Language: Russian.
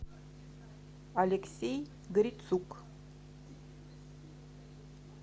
алексей грицук